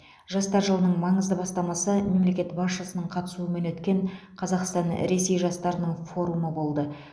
жастар жылының маңызды бастамасы мемлекет басшысының қатысуымен өткен қазақстан ресей жастарының форумы болды